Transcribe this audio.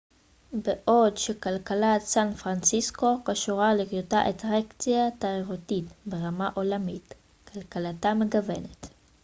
בעוד שכלכלת סן פרנסיסקו קשורה להיותה אטרקציה תיירותית ברמה עולמית כלכלתה מגוונת